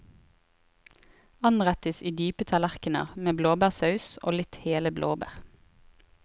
Anrettes i dype tallerkner med blåbærsaus og litt hele blåbær.